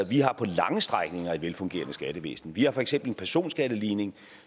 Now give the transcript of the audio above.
vi har på lange strækninger et velfungerende skattevæsen vi har for eksempel en personskatteligning